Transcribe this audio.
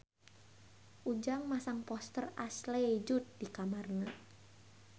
Ujang masang poster Ashley Judd di kamarna